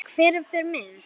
Eða hver fer með.